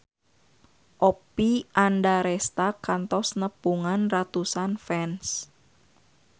Oppie Andaresta kantos nepungan ratusan fans